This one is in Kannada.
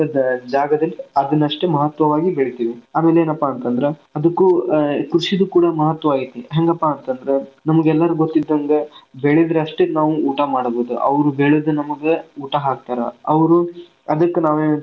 ಅಂತಂತ ಜಾಗದಲ್ಲಿ ಅದನ್ನ ಅಷ್ಟೇ ಮಹತ್ವವಾಗಿ ಬೆಳಿತೀವಿ ಆಮೇಲೆ ಏನಪ್ಪಾ ಅಂತಂದ್ರ ಅದಕು ಅ ಕೃಷಿಗೆ ಕೂಡ ಮಹತ್ವ ಐತಿ ಹೆಂಗಪ್ಪಾ ಅಂತಂದ್ರ ನಿಮಗ್ ಎಲ್ಲರಿಗು ಗೊತ್ ಇದ್ದಂಗ ಬೆಳದರಷ್ಟೇ ನಾವು ಊಟಾ ಮಾಡೋದ್ ಅದ್ ಅವ್ರು ಬೆಳದ ನಮಗ್ ಊಟಾ ಹಾಕ್ತಾರ ಅವ್ರು ಅದಕ್ಕ್ ನಾವ್ ಏನ್ ಐತಿ.